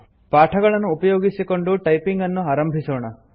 ಪಾಠಗಳನ್ನು ಉಪಯೋಗಿಸಿಕೊಂಡು ಟೈಪಿಂಗ್ ಅನ್ನು ಆರಂಭಿಸೋಣ